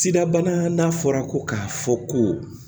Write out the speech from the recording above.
Sidabana n'a fɔra ko k'a fɔ ko